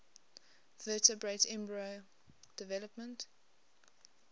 vertebrate embryo development